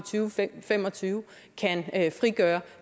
fem og tyve kan frigøre